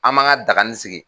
An man ka dagani sigi